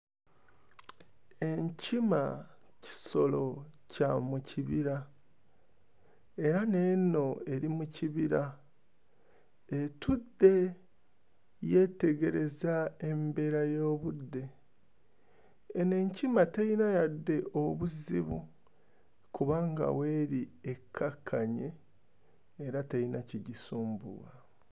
Enkima kisolo kya mu kibira era n'eno eri mu kibira, etudde, yeetegereza embeera y'obudde. Eno enkima teyina yadde obuzibu kubanga w'eri ekkakkanye era teyina kigisumbuwa.